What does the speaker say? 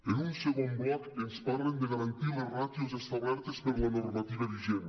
en un segon bloc ens parlen de garantir les ràtios establertes per la normativa vigent